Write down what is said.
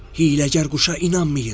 Hiyləgər quşa inanmayın.”